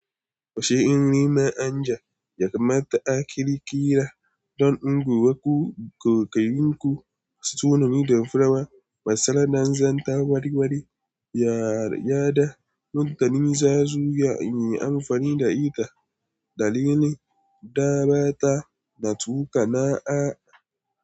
Washe in nima anja, yakamata a kira kira don unguwanku. Ko ka yanku, sunan miyan fura, masara da zanta wari-wari, ya yarda. Mutane za su yi amfani da aika, dalili, da bata na tukana a.